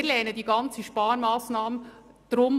Aus diesem Grund lehnen wir die ganze Sparmassnahme ab.